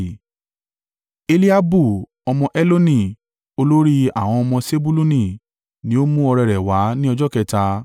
Eliabu ọmọ Heloni, olórí àwọn ọmọ Sebuluni ni ó mú ọrẹ rẹ̀ wá ní ọjọ́ kẹta.